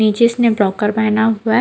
नीचे इसने ब्रोकर पहना हुआ है।